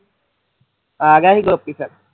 ਆ ਗਿਆ ਸੀ ਗੋਪੀ ਫਿਰ